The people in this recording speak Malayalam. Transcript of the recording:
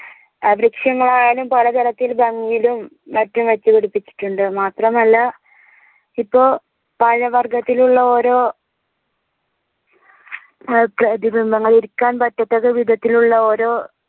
വൃക്ഷങ്ങളായാലും പല തരത്തിൽ ഭംഗീലും മറ്റും വെച്ചുപിടിപ്പിച്ചിട്ടുണ്ട് മാത്രമല്ല ഇപ്പൊ പഴവർഗത്തിലുള്ള ഓരോ ഏർ പ്രതിബിംബങ്ങൾ ഇരിക്കാൻ പറ്റത്തക്ക വിതത്തിൽ ഓരോ